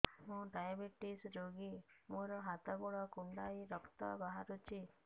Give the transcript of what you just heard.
ମୁ ଡାଏବେଟିସ ରୋଗୀ ମୋର ହାତ ଗୋଡ଼ କୁଣ୍ଡାଇ ରକ୍ତ ବାହାରୁଚି